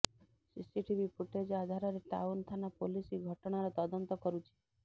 CCTV footage ଆଧାରରେ town ଥାନା police ଘଟଣାର ତଦନ୍ତ କରୁଛି